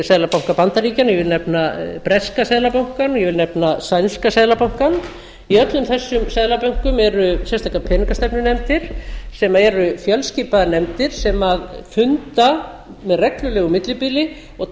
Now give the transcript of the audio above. seðlabanka bandaríkjanna ég vil nefna breska seðlabankann og ég vil nefna sænska seðlabankann í öllum þessum seðlabönkum eru sérstakar peningastefnunefndir sem eru fjölskipaðar nefndir sem funda með reglulegu millibili og